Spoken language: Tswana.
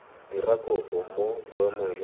dira kopo mo boemong jwa